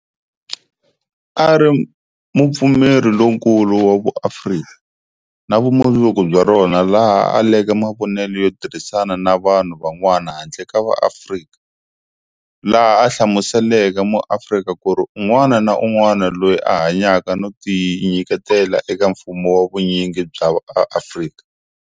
A ri mupfumeri lonkulu wa vuAfrika na vumundzuku bya rona laha a aleke mavonele yo tirhisana na vanhu van'wana handle ka va Afrika, laha a hlamuseleke muAfrika kuri un'wana na un'wana loyi a hanyaka no tinyiketela eka mfumo wa vunyingi bya va Afrika.